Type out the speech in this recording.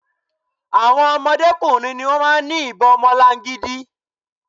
Àwon ọmọdé kùnrin ni wón máa ń fi ìbon ọmọlangidi.